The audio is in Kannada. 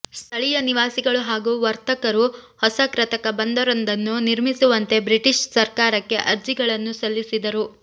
ಸ್ಥಳೀಯ ನಿವಾಸಿಗಳು ಹಾಗೂ ವರ್ತಕರು ಹೊಸ ಕೃತಕ ಬಂದರೊಂದನ್ನು ನಿರ್ಮಿಸುವಂತೆ ಬ್ರಿಟಿಷ್ ಸರಕಾರಕ್ಕೆ ಅರ್ಜಿಗಳನ್ನು ಸಲ್ಲಿಸಿದರು